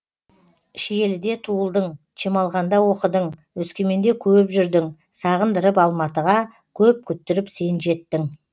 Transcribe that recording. шиеліде туылдың чемолғанда оқыдың өскеменде көп жүрдің сағындырып алматыға көп күттіріп сен жеттің